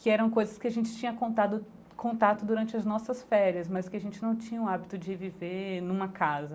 Que eram coisas que a gente tinha contado contato durante as nossas férias, mas que a gente não tinha o hábito de viver numa casa.